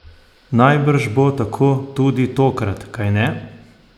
Najbrž bo tako tudi tokrat, kajne?